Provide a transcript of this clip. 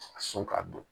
A sɔn ka dun